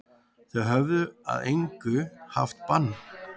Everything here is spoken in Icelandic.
Þeir höfðu að engu haft bann